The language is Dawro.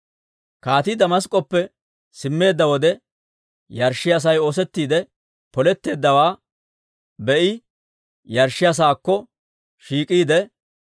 Kaatii Damask'k'oppe simmeedda wode, yarshshiyaa sa'ay oosettiide poletteeddawaa be"i yarshshiyaa saakko shiik'iide,